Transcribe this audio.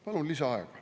Palun lisaaega.